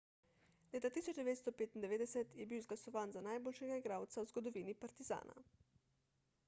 leta 1995 je bil izglasovan za najboljšega igralca v zgodovini partizana